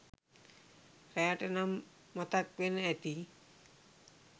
රෑට නම් මතක් වෙනව ඇති ?